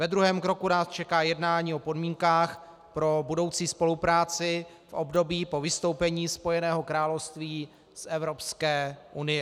Ve druhém kroku nás čeká jednání o podmínkách pro budoucí spolupráci v období po vystoupení Spojeného království z Evropské unie.